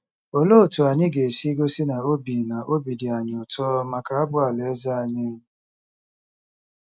Olee otú anyị ga-esi gosi na obi na obi dị anyị ụtọ maka abụ Alaeze anyị?